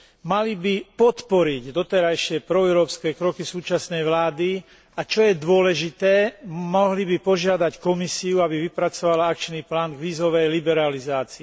Mali by podporiť doterajšie proeurópske kroky súčasnej vlády, a čo je dôležité, mohli by požiadať Komisiu, aby vypracovala akčný plán k vízovej liberalizácii.